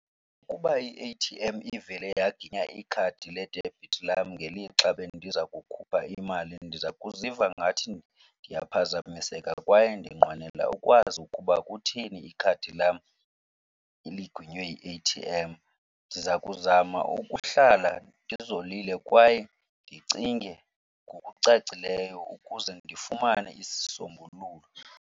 Ukuba i-A_T_M ivele yaginya ikhadi ledebhithi lam ngelixa bendiza kukhupha imali ndiza kuziva ngathi ndiyaphazamiseka kwaye ndinqwenela ukwazi ukuba kutheni ikhadi lam liginywe yi-A_T_M. Ndiza kuzama ukuhlala ndizolile kwaye ndicinge ngokucacileyo ukuze ndifumane isisombululo.